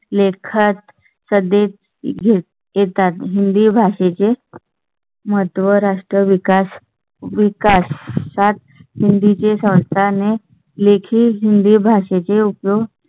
लेखात सध्याच घेण्यात येतात. हिंदी भाषे चे महत्त्व, राष्ट्र विकास, विकास सात हिंदी चे सांगताना लेखी हिंदी भाषे चे उपयोग.